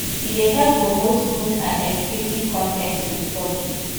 e dey help promote good and educative con ten ts to the public